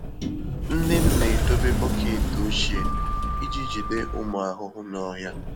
Nne m na-edobe bọket ochie iji jide ụmụ ahụhụ n'ọhịa.